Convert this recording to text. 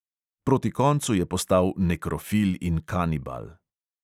Proti koncu je postal nekrofil in kanibal.